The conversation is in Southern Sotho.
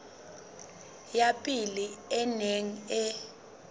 ya pele e neng e